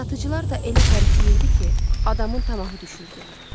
Satıcılar da elə tərifləyirdi ki, adamın tamahı düşürdü.